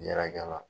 Yɛrɛkɛra